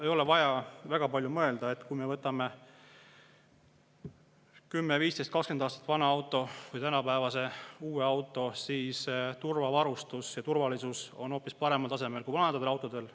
Ei ole vaja väga palju mõelda,, et kui 10, 15 või 20 aastat vana autot ja tänapäevast uut autot, siis turvavarustus ja turvalisus on hoopis paremal tasemel kui vanadel autodel.